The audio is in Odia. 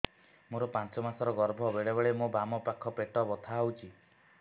ମୋର ପାଞ୍ଚ ମାସ ର ଗର୍ଭ ବେଳେ ବେଳେ ମୋ ବାମ ପାଖ ପେଟ ବଥା ହଉଛି